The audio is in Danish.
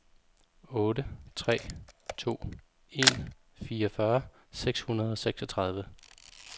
otte tre to en fireogfyrre seks hundrede og seksogtredive